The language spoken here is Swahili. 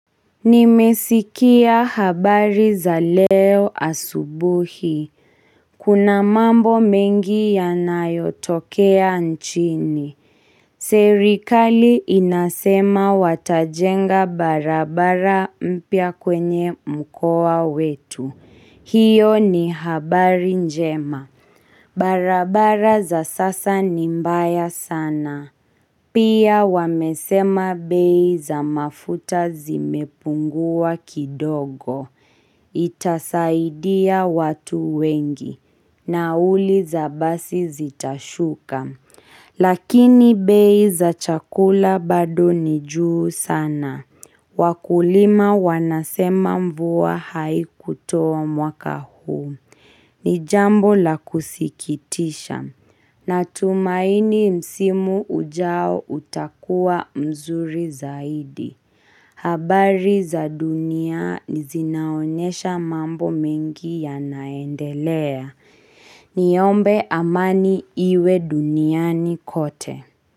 Nimesikia habari za leo asubuhi. Kuna mambo mengi yanayotokea nchini. Serikali inasema watajenga barabara mpya kwenye mkoa wetu. Hiyo ni habari njema. Barabara za sasa ni mbaya sana. Pia wamesema bei za mafuta zimepungua kidogo. Itasaidia watu wengi. Nauli za basi zitashuka. Lakini bei za chakula bado ni juu sana. Wakulima wanasema mvua haikutoa mwaka huu. Ni jambo la kusikitisha. Natumaini msimu ujao utakua mzuri zaidi. Habari za duniani zinaonesha mambo mingi yanaendelea. Niombe amani iwe duniani kote.